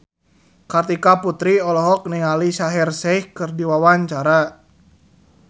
Kartika Putri olohok ningali Shaheer Sheikh keur diwawancara